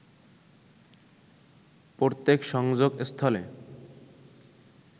প্রত্যেক সংযোগস্থলে